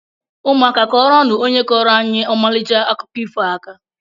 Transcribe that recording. Ụmụaka kuọrọnu ónyé kọro anyị Omalicha akụkọ ifo a aka!!!